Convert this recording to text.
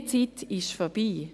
Diese Zeit ist vorbei.